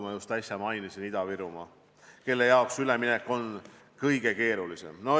Ma just äsja mainisin Ida-Virumaad, kus üleminek on kõige keerulisem.